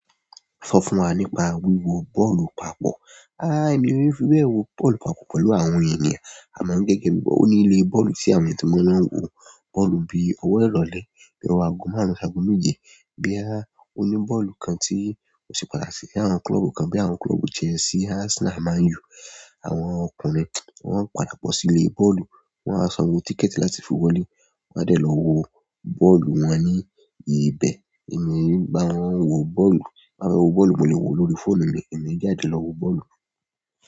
Sọ fún wa nípa wíwo bọ́ọ̀lù papọ̀. A, èmi yiò fi bẹ̀ wo bọ́ọ̀lù papọ̀ pẹ̀lú àwọn ènìyàn. Àmọ́ gẹ́gẹ́ bí i, ó ní ilé bọ́ọ̀lù tí àwọn eeyan ti mo loń wo bọ́ọ̀lù bí i ọwọ́ ìrọ̀lẹ́, bí i ọ̀wọ́ ago márùn-ún ṣágo méje, boya ó ní bọ́ọ̀lù kan tí ó se pàtàkì bi àwọn klọ́ọ̀bù kan bí i àwọn klọ́ọ̀bù Chelsea, Arsenal, Man U. Àwọn ọkùnrin wọn ń padà bọ́ sí ilé bọ́ọ̀lù, wọn a sanwó tíkẹ̀ẹ̀tì láti fi wọlé, wọn a dẹ̀ lọ wo bọ́ọ̀lù wọn ní ibẹ̀. Èmi e bá wọn wo bọ́ọ̀lù, ti n bá fẹ wò bọ́ọ̀lù, mo lè wo lórí fóònù mi ẹ̀mí e jáde lọ wo bọ́ọ̀lù.